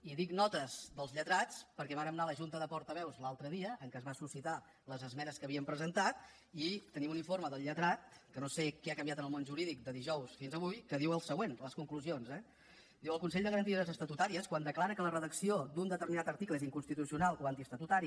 i dic notes dels lletrats perquè vàrem anar a la junta de portaveus l’altre dia en què es van suscitar les esmenes que havíem presentat i tenim un informe del lletrat que no sé què ha canviat en el món jurídic de dijous fins avui que diu el següent a les conclusions eh diu el consell de garanties estatutàries quan declara que la redacció d’un determinat article és inconstitucional o antiestatutari